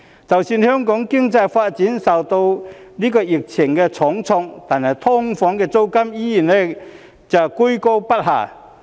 即使香港的經濟發展受到疫情重創，但"劏房"的租金依然居高不下。